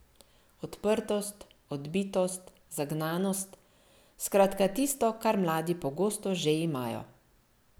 Odprtost, odbitost, zagnanost, skratka tisto, kar mladi pogosto že imajo.